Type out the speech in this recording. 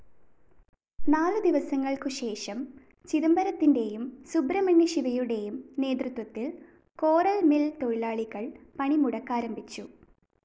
നാലു ദിവസങ്ങൾക്കു ശേഷം, ചിദംബരത്തിന്റേയും, സുബ്രഹ്മണ്യ ശിവയുടേയും നേതൃത്വത്തിൽ കോറൽ മിൽ തൊഴിലാളികൾ പണി മുടക്കാരംഭിച്ചു.